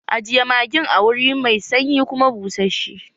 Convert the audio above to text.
Ajiye magin a wuri mai sanyi kuma bushashe!